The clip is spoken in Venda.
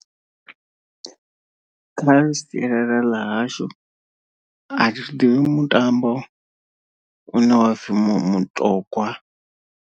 Kharali sialala ḽa hashu athi thi ḓivha mutambo une wa hapfi mutogwa.